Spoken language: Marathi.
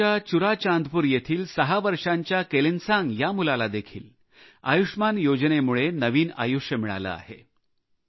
मणिपूरच्या चुराचांदपूर येथील सहा वर्षांच्या केलेनसांग या मुलाला देखील आयुष्मान योजनेमुळे नवीन आयुष्य मिळाले आहे